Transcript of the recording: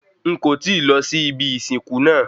N kò tíì lọ sí ibi ìsìnkú naa